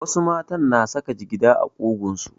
Wasu mata na saka jigida a ƙugunsu.